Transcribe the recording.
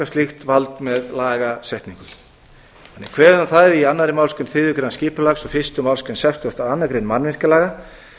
slíkt vald með lagasetningu þannig er kveðið á um það í annarri málsgrein þriðju greinar skipulagslaga og fyrstu málsgrein sextugustu og annarrar greinar mannvirkjalaga